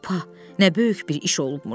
Pa, nə böyük bir iş olubmuş.